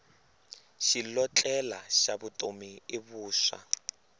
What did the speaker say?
xilotlela xa vutomi i vuswa